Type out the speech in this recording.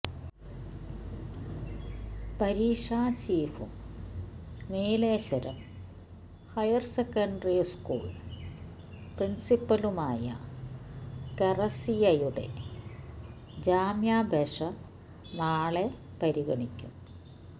പരീക്ഷ ചീഫും Nileshwaram higher secondary school പ്രിൻസിപ്പലുമായ കെ റസിയയുടെ ജാമ്യാപേക്ഷ നാളെ പരിഗണിക്കും